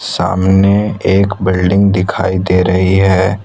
सामने एक बिल्डिंग दिखाई दे रही है।